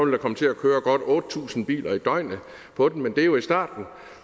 vil komme til at køre godt otte tusind biler i døgnet på den men det er jo i starten